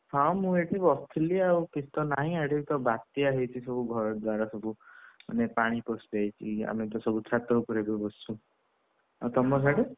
ହଁ ମୁଁଏଇଠି ବସିଥିଲି ଆଉ କିଛି ତ ନାହିଁ, ଆଡେ ତ ବାତ୍ୟା ହେଇଛି ଘର ଦ୍ୱାରା ସବୁ ମାନେ ପାଣି ପଶି ଯାଇଛି ଆମେତ ସବୁ ଛାତ ଉପରେ ଏବେ ବସିଛୁ ଆଉ ତମର ସାଡେ?